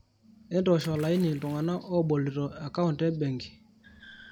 entoosh olaini iltungana lobolito account e benki